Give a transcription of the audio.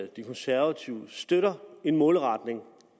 de konservative støtter en målretning